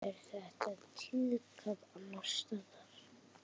Er þetta tíðkað annars staðar?